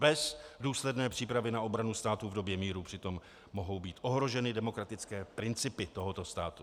Bez důsledné přípravy na obranu státu v době míru přitom mohou být ohroženy demokratické principy tohoto státu.